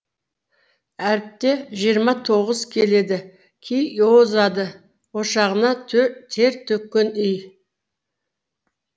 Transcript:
әріпте жиырма тоғыз келеді ки озады ошағына тер төккен үй